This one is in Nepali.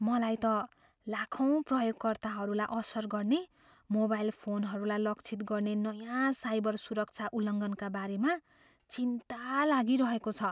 मलाई त लाखौँ प्रयोगकर्ताहरूलाई असर गर्ने मोबाइल फोनहरूलाई लक्षित गर्ने नयाँ साइबर सुरक्षा उल्लङ्घनका बारेमा चिन्ता लागिरहेको छ।